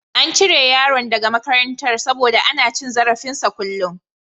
An cire yaron daga makarantar saboda ana cin zarafinsa a kullun.